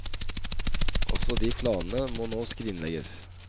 Også de planene må nå skrinlegges.